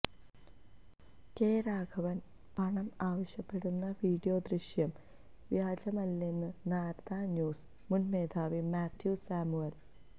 K രാഘവന് പണം ആവശ്യപ്പെടുന്ന വീഡിയോദൃശ്യം വ്യാജമല്ലെന്ന് നാരദാ ന്യൂസ് മുന് മേധാവി മാത്യു സാമുവല്